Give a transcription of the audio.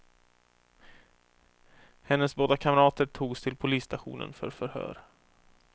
Hennes båda kamrater togs till polisstationen för förhör.